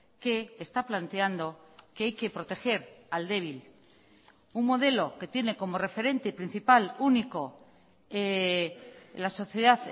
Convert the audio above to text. que está planteando que hay que proteger al débil un modelo que tiene como referente principal único la sociedad